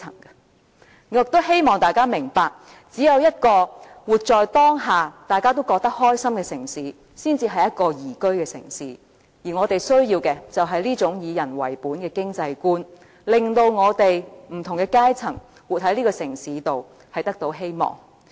我亦希望大家明白，只有一個活在當下，大家都覺得開心的城市，才是一個宜居的城市，而我們需要的是這種以人為本的經濟觀，令到活在這個城市中的不同階層也得到希望。